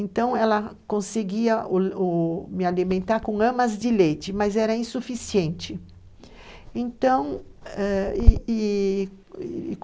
Então ela conseguia o o me alimentar com amas de leite, mas era insuficiente, então, e e,